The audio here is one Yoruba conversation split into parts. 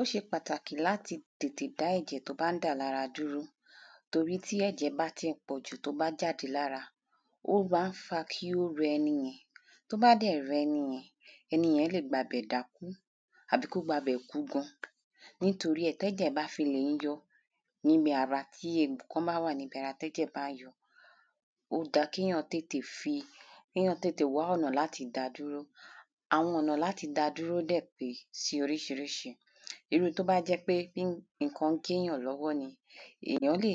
Ó ṣe pàtàkì láti tètè dá ẹ̀jẹ̀ tó bá ń dà lára dúró torí tí ẹ̀jẹ̀ bá ti pọ̀jù tó bá jàde lára ó má ń fa kí ó rẹ ẹni yẹn tó bá dẹ̀ rẹ ẹni yẹn ẹni yẹn lè gba bẹ̀ dákú àbí kó gba bẹ̀ kú gan. Nítorí ẹ̀ tẹ́jẹ̀ bá fi lè ń yọ níbi ara tí egbò kan bá wà níbi ara tẹ́jẹ̀ bá ń yọ ó dá kéyàn tètè fi kéyàn tètè wá ọ̀nà láti dá dúró àwọn ọ̀nà láti dá dúró dẹ̀ pé sí oríṣiríṣi. Irú tó bá jẹ́ pé nǹkan gé yàn lọ́wọ́ ni ẹ̀yàn lè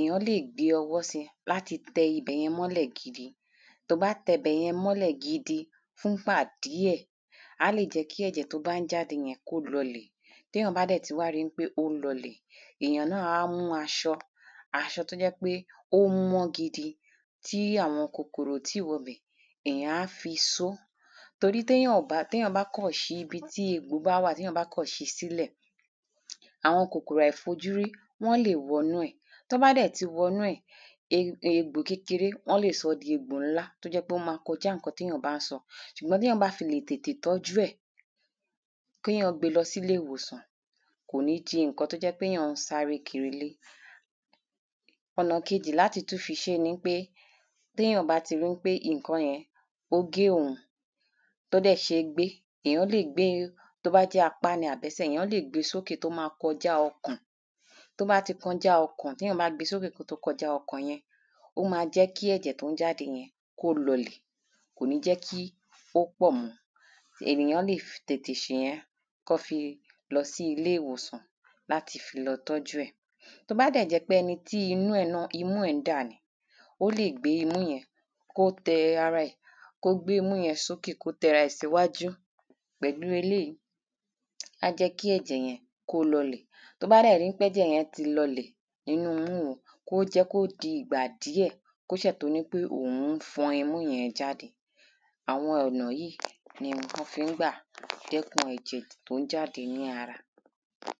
ẹ̀yàn lè gbé ọwọ́ sí láti tẹ ibẹ̀yẹn mọ́lẹ̀ gidi tó bá tẹ ibẹ̀yẹn mọ́lẹ̀ gidi fún gbà díẹ̀ á lè jẹ́ kí ẹ̀jẹ̀ tó bá ń jáde yẹn kó lọlẹ̀ téyàn bá dẹ̀ ti rí pé ó ń lọlè èyàn náà á mú aṣọ aṣọ tó jẹ́ pé ó mọ́ gidi tí àwọn kòkòrò ò tí wọbẹ̀ èyàn á fi só torí téyàn ò bá téyàn bá kàn ṣí ibi tí egbò bá wà téyàn kán ṣi sílẹ̀ àwọn kòkòrò àìfojúrí wọ́n lè wọnú ẹ̀ tán bá dẹ̀ ti wọnú ẹ̀ e egbò kékeré wọ́n lè sọ́ di egbò ńlá tó jẹ́ pé wọ́n má kọjá nǹkan téyàn bá ń sọ. Ṣùgbọ́n téyàn bá fi le tètè tọ́jú ẹ̀ kéyàn gbé lọ sílé ìwòsàn kò ní di nǹkan téyàn ń sáré kiri lé. Ọ̀nà kejì téyàn tún le fi ṣé ni wípé téyàn bá rí pé nǹkan yẹn ó gé òhun tó dẹ̀ ṣé gbé tó bá jẹ́ apá ni àbí ẹsẹ̀ èyàn lè gbé sókè tó má kọjá ọkàn tó bá ti kọjá ọkàn téyàn bá ti gbé sókè tó bá ti kọjá ọkàn yẹn ó má jẹ́ kí ẹ̀jẹ̀ tó ń jáde yẹn kí ó lọlẹ̀ kò ní jẹ́ kí ó pọ̀ mọ́ ènìyàn lè tètè ṣe yẹn kán fi lọ sí ilé ìwòsàn láti lọ tọ́jú ẹ̀. Tó bá dẹ̀ jẹ́ pé. ẹni tí imú ẹ̀ náà imú ẹ̀ ń dà ni ó lè gbé imú ẹ̀ náà kó tẹ ara ẹ̀ kó gbému yẹn sókè kó tẹ ara ẹ̀ síwájú pẹ̀lú eléèyí á jẹ́ kí ẹ̀jẹ̀ yẹn kí ó lọlẹ̀ tó bá dẹ̀ ti rí pé ẹ̀jẹ̀ yẹn lọlẹ̀ nínú imú òhun kó jẹ́ kó di ìgbà díẹ̀ kó ṣè tó ní pé òhun fọn imú yẹn jáde àwọn ọ̀nà yìí ni wọ́n ń gbà dẹ́kùn ẹ̀jẹ̀ tí ó ń jáde ní ara.